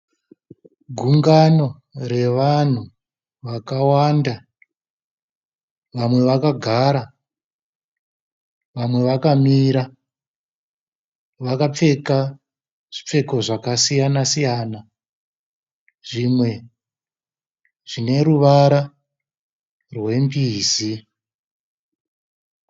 Gungano revanhu vakawanda. Vamwe vakagara vamwe vakamira vakapfeka zvipfeko zvakasiyana siyana zvimwe zvine ruvara rwembizi.